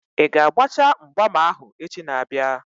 Ị ga-agbacha mgbam ahụ echi na-abịa?